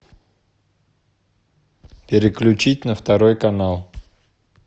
переключить на второй канал